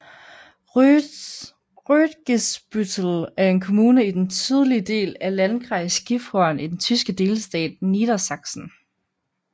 Rötgesbüttel er en kommune i den sydlige del af Landkreis Gifhorn i den tyske delstat Niedersachsen